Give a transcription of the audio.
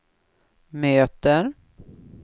möter